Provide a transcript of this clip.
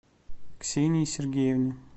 ксении сергеевне